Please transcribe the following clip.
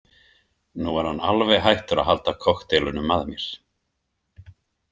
Nú er hann alveg hættur að halda kokteilunum að mér.